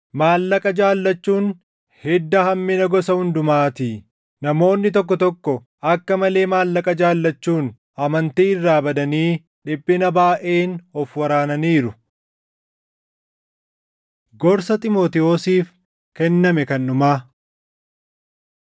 Maallaqa jaallachuun hidda hammina gosa hundumaatii. Namoonni tokko tokko akka malee maallaqa jaallachuun amantii irraa badanii dhiphina baayʼeen of waraananiiru. Gorsa Xiimotewosiif Kenname Kan Dhumaa